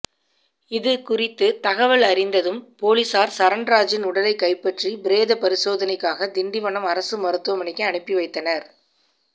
இதுகுறித்து தகவல் அறிந்ததும் பொலிஸார் சரண்ராஜின் உடலை கைப்பற்றி பிரேத பரிசோதனைக்காக திண்டிவனம் அரசு மருத்துவமனைக்கு அனுப்பி வைத்தனர்